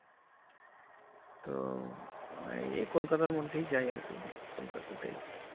তো এই kolkata আর মধ্যেই যাই আর কি kolkata তেই